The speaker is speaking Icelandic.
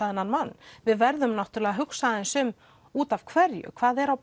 þennan mann við verðum að hugsa út af hverju hvað er á